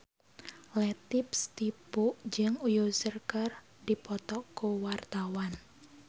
Latief Sitepu jeung Usher keur dipoto ku wartawan